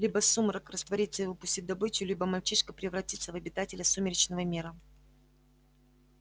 либо сумрак растворится и выпустит добычу либо мальчишка превратится в обитателя сумеречного мира